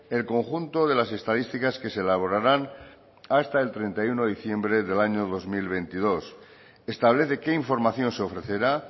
el conjunto de las estadísticas que se elaborarán hasta el treinta y uno de diciembre del año dos mil veintidós establece qué información se ofrecerá